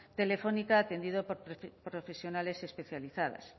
telefónica atendido por profesionales especializadas